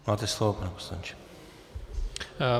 Máte slovo, pane poslanče.